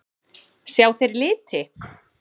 Sjá þeir liti?